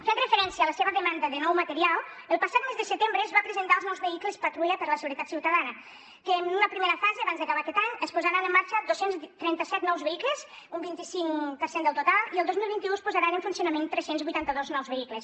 fent referència a la seva demanda de nou material el passat mes de setembre es van presentar els nous vehicles patrulla per a la seguretat ciutadana que en una primera fase abans d’acabar aquest any es posaran en marxa dos cents i trenta set nous vehicles un vint cinc per cent del total i el dos mil vint u es posaran en funcionament tres cents i vuitanta dos nous vehicles